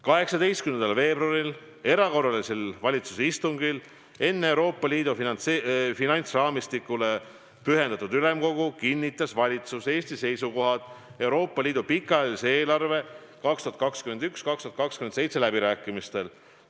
18. veebruaril, erakorralisel valitsuse istungil enne Euroopa Liidu finantsraamistikule pühendatud ülemkogu kinnitas valitsus Eesti seisukohad Euroopa Liidu pikaajalise eelarve 2021–2027 läbirääkimistel.